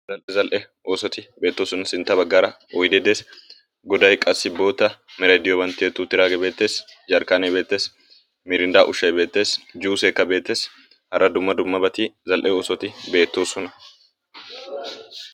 zal''e oosoti beettoosona,. sintta baggaara oydde des, goday qassi bootta meray diyooban tiyyeti uttiidaage beettees. Jarkkane beettees. Mirinda ushshay beettees. Juussekka beettees. hara dumma dummabati zal''e oosoti beettoosona.